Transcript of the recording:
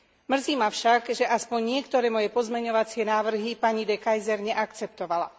Mrzí ma však, že aspoň niektoré moje pozmeňovacie návrhy pani De Keyser neakceptovala.